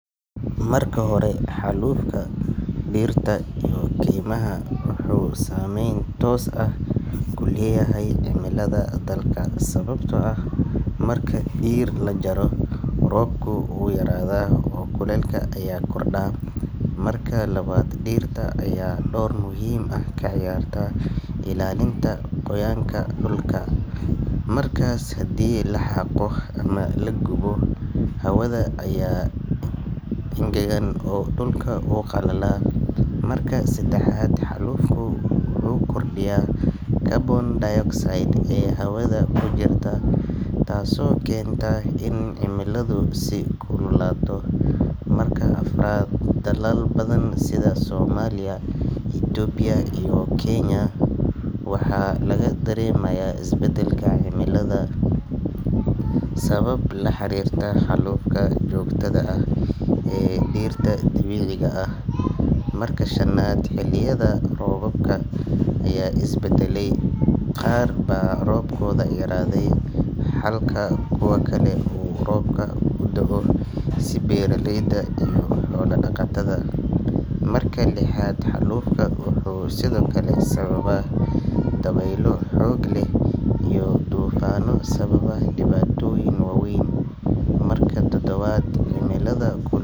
Marka hore, xallufka dhirta iyo keymaha wuxuu saameyn toos ah ku leeyahay cimilada dalka, sababtoo ah marka dhir la jaro, roobku wuu yaraadaa oo kulaylka ayaa kordha. Marka labaad, dhirta ayaa door muhiim ah ka ciyaarta ilaalinta qoyaanka dhulka, markaas haddii la xaaqo ama la gubo, hawada ayaa engegan oo dhulku wuu qalalaa. Marka saddexaad, xallufku wuxuu kordhiyaa carbon dioxide ee hawada ku jirta, taasoo keenta in cimiladu sii kululaato. Marka afraad, dalal badan sida Soomaaliya, Itoobiya, iyo Kenya, waxaa laga dareemayaa isbedelka cimilada sabab la xiriirta xallufka joogtada ah ee dhirta dabiiciga ah. Marka shanaad, xilliyada roobka ayaa is beddelay, qaar baa roobkooda yaraaday halka kuwa kale uu roobka u da’o si lama filaan ah, taas oo wax u dhimaysa beeraleyda iyo xoolo-dhaqatada. Marka lixaad, xallufka wuxuu sidoo kale sababaa dabaylo xoog leh iyo duufaanno sababa dhibaatooyin waaweyn. Marka toddobaad, cimilada ku.